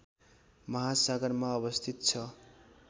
महासागरमा अवस्थित छ